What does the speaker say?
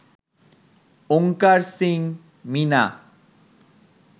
Onkar Singh Mina